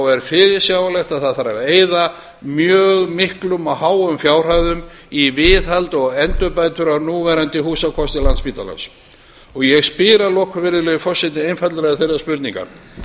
er fyrirsjáanlegt að eyða þarf mjög miklum og háum fjárhæðum í viðhald og endurbætur á núverandi húsakosti landspítalans ég spyr að lokum virðulegi forseti einfaldlega þeirrar spurningar